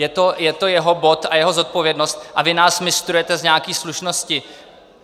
Je to jeho bod a jeho zodpovědnost a vy nás mistrujete z nějaké slušnosti.